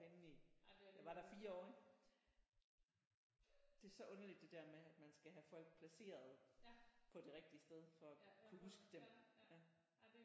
Inde i jeg var der 4 år ik det så underligt det der med at man skal have folk placeret på det rigtige sted for at kunne huske dem ja